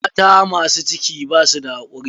Mata masu ciki basu da hakuri.